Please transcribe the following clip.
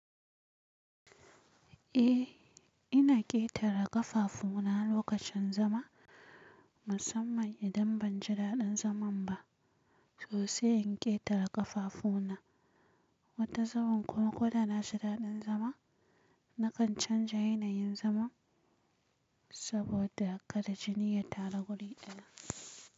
Eh, ina ƙetare ƙafafu na lokacin zama. Musamman idan ban ji daɗin zaman ba, sosai in ƙetare ƙafafu na. Wata zaman kuma ko da na ji daɗin zama, na kan canza yanayin zaman saboda kada jini ya taru guri ɗaya.